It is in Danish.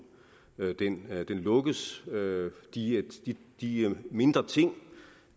lukkes de de mindre ting